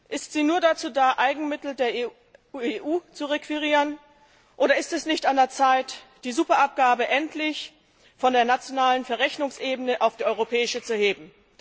Ist sie nur dazu da, Eigenmittel der EU zu requirieren? Oder ist es nicht an der Zeit, die Superabgabe endlich von der nationalen Verrechnungsebene auf die europäische Ebene zu heben?